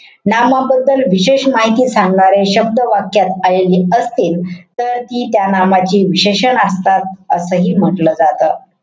नामाबद्दल विशेष माहिती सांगणारे शब्द वाक्यात आलेले असतील. तर ती त्या नामाची विशेषण असतात. असंही म्हंटल जातं.